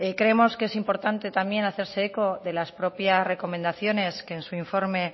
creemos que es importante también hacerse eco de las propias recomendaciones que en su informe